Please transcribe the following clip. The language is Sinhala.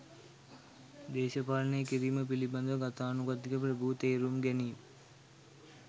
දේශපාලනය කිරීම පිළිබඳ ගතානුගතික ප්‍රභූ තේරුම් ගැනීම්